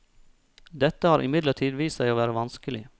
Dette har imidlertid vist seg å være vanskelig.